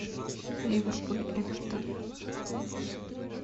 ливерпуль эвертон